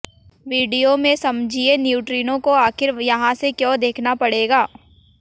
video में समझिये neutrino को आखिर यहां से क्यों देखना पड़ेगा